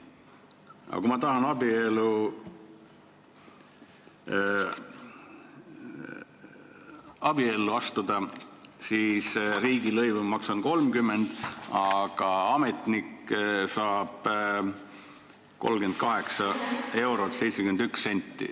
Aga kui ma tahan abiellu astuda, siis maksan 30 eurot riigilõivu ja ametnik saab 38 eurot ja 71 senti.